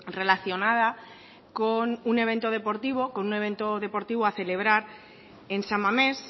relacionada con un evento deportivo a celebrar en san mamés